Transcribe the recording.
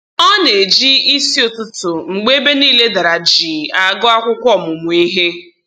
Ọ na-eji isi ụtụtụ mgbe ebe niile dara jii agụ akwụkwọ ọmụmụ ihe